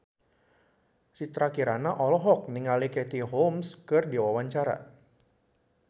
Citra Kirana olohok ningali Katie Holmes keur diwawancara